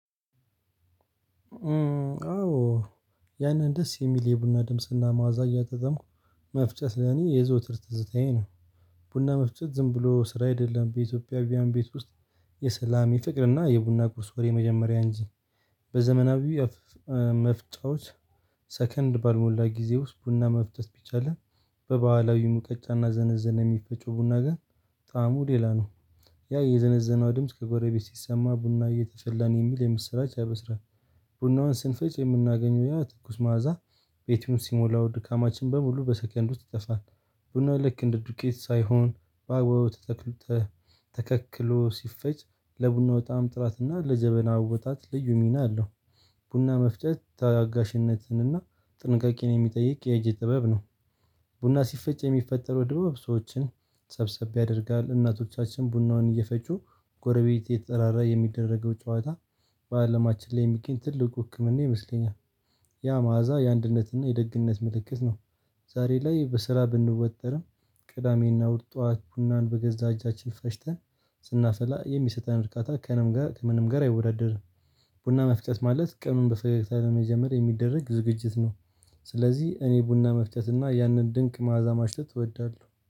አዎ ያንን ደስ የሚል የቡና ድምጽና ማዕዛ እያጣጣምኩ መፍጨት ለኔ የዘውትር ትዝታዬ ነው። ቡና መፍቸት ዝም ብሎ ስራ አይደለም በኢትዮጵያውያን ቤት ውስጥ የሰላም የፍቅርና የቡና ቁርስ ወሬ የመጀመሪያ እንጂ። በዘመናዊ መፍጫዎች ሰከንድ ባልሞላ ጊዜ ውስጥ ቡና መፍጨት ቢቻልም በባህላዊ ሙቀጫና ዘነዘና የሚፈጨው ቡና ግን ጣዕሙ ሌላ ነው። ያ የዘነዘናው ድምጽ ከጎረቤት ሲሰማ ቡና እየተፈላ ነው የሚል የምስራች ያበስራ። ቡናውን ስንፈጭ የምናገኘው ያ ትኩስ ማዕዛ ቤቱን ሲሞላው ድካማችን በሙሉ በሰከንድ ውስጥ ይጠፋል። ቡናው ልክ እንደ ቄትቅ ሳይሆን በአግባቡ ተተክሎ ተከክሎ ሲፈጭ ለቡናው በጣም ጥራት እና ለጀበና አወጣጥ ልዩ ሚና አለው። ቡና መፍጨት ታጋሽነትን እና ጥንቃቄን የሚጠይቅ የእጅ ጥበብ ነው። ቡና ሲፈጭ የሚፈጠረው ድባብ ሰዎችን ሰብሰብ ያደርጋል እናቶቻችን ቡናውን እየፈጩ ጎረቤት የተጠራራ የሚደረገው ጨዋታ። በአለማችን ላይ የሚገኝ ትልቁ ህክምና ይመስለኛል። ያ መዓዛ የአንድነትና የደግነት ምልክት ነው። ዛሬ ላይ በስራ ብንወጠርም ቅዳሜና እሁድ ጠዋት ቡናን በገዛ እጃችን ፈጭተን ስናፈላ የሚሰጠን እርካታ ከንም ጋር ከምንም ጋር አይወዳደርም። ቡና መፍጨት ማለት ቀኑንን በፈገግታ ለመጀመር የሚደረግ ዝግጅት ነው። ስለዚህ እኔ ቡና መፍጨት እና ያንን ድንቅ ማዕዛ ማሽተት ልትወዳለሁ